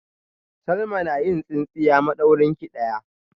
Salma na yin tsintsiya madaurinki daya